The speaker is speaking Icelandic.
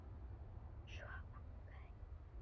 Svo vaknaði ég.